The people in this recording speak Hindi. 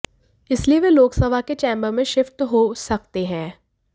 इसलिए वे लोकसभा के चैम्बर में शिफ्ट हो सकते हैं